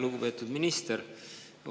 Lugupeetud minister!